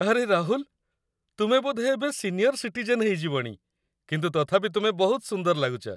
ଆରେ ରାହୁଲ, ତୁମେ ବୋଧେ ଏବେ ସିନିୟର ସିଟିଜେନ୍ ହେଇଯିବଣି, କିନ୍ତୁ ତଥାପି ତୁମେ ବହୁତ ସୁନ୍ଦର ଲାଗୁଚ ।